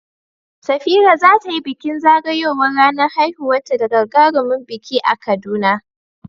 Safira za ta yi bikin zagayowar ranar haihuwarta da gagarumin biki a Kaduna.